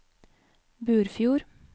Burfjord